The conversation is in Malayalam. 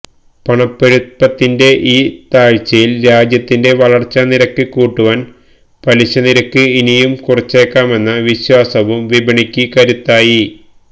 പണപ്പെരുപ്പത്തിന്റെ ഈ താഴ്ചയില് രാജ്യത്തിന്റെ വളര്ച്ചാ നിരക്ക് കൂട്ടുവാന് പലിശ നിരക്ക് ഇനിയും കുറച്ചേക്കാമെന്ന വിശ്വാസവും വിപണിക്ക് കരുത്തായി